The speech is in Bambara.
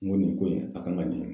N ko nin ko in a kan ka ɲɛ